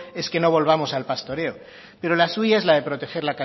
es que no volvamos al pastoreo pero la suya es la de proteger